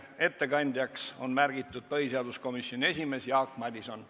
Ettekandjaks on märgitud põhiseaduskomisjoni esimees Jaak Madison.